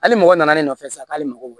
Hali mɔgɔ nana ne nɔfɛ sisan k'ale mago